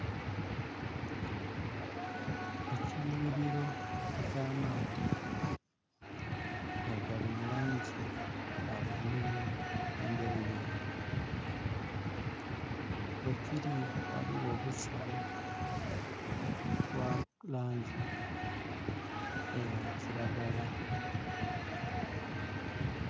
Ekiyughiliro eky'amaadhi nga gali mu langi ya bulululu endheruyeru. Kwekiri ghaligho obusubi obwa langi eya kiragala.